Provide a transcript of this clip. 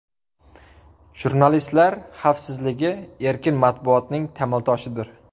Jurnalistlar xavfsizligi erkin matbuotning tamal toshidir.